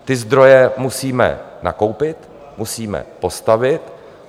Ty zdroje musíme nakoupit, musíme postavit.